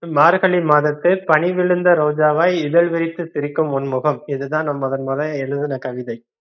மார்கழி மாதத்து பனிவிழுந்த ரோஜாவை இதழ் விரித்து சிரிக்கும் உன் முகம். இதுதா நா முதன் மொத எழுதுன கவிதை